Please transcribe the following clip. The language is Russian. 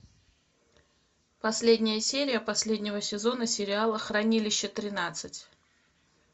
последняя серия последнего сезона сериала хранилище тринадцать